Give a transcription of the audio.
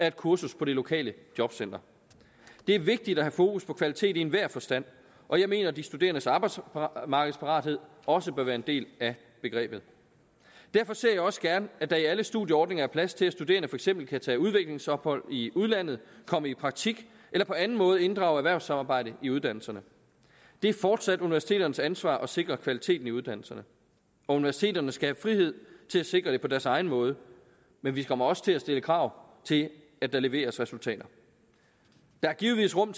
et kursus på det lokale jobcenter det er vigtigt at have fokus på kvalitet i enhver forstand og jeg mener at de studerendes arbejdsmarkedsparathed også bør være en del af begrebet derfor ser jeg også gerne at der i alle studieordninger er plads til at studerende for eksempel kan tage udviklingsophold i udlandet komme i praktik eller på en måde inddrage erhvervssamarbejde i uddannelserne det er fortsat universiteternes ansvar at sikre kvaliteten i uddannelserne og universiteterne skal have frihed til at sikre det på deres egen måde men vi kommer også til at stille krav til at der leveres resultater der er givetvis rum